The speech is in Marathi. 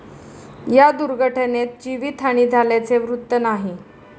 या दुर्घटनेत जीवितहानी झाल्याचे वृत्त नाही.